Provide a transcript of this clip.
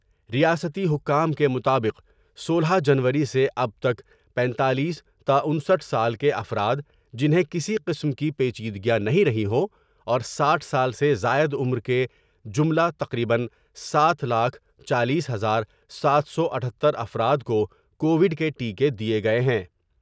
ریاستی حکام کے مطابق سولہ جنوری سے اب تک پنتالیس تا انسٹھ سال کے افراد جنہیں کسی قسم کی پیچیدگیاں نہیں رہی ہو اور ساٹھ سال سے زائد عمر کے جملہ تقریبا ساتھ لاکھ چالیس ہزار ساتھ سو اتھتر افرادکوکووڈ کے ٹیکے دیئے گئے ہیں ۔